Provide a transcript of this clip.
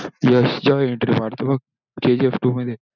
यश जेव्हा entry मरतो बघ kgftwo मध्ये